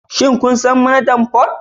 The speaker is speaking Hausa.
Shin kun san Manajan Port?